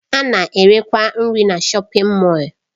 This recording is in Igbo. A na-erekwa nri na shọpin Mọll.